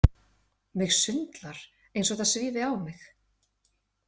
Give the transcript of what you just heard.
Mig sundlar eins og það svífi á mig.